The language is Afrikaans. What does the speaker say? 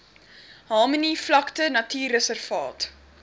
harmony vlakte natuurreservaat